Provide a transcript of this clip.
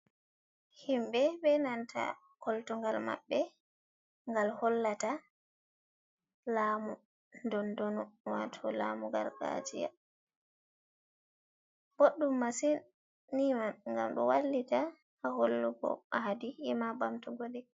Himɓe be nanta koltugal maɓɓe gal hollata lamu dondonu wato lamu gargajiya boɗɗum masin ni man ngam ɗo wallita ha hollugo aadi ema bamtugo ɗeh.